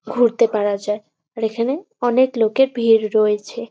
ঘুরতে পারা যায় আর এখানে অনেক লোকের ভিড় রয়েছে।